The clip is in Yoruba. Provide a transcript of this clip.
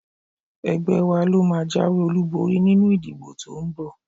Ẹgbẹ́ wa ló máa jáwé olúborí nínú ìdìbò to ń bọ̀